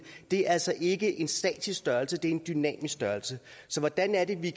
det altså ikke en statisk størrelse det er en dynamisk størrelse så hvordan kan vi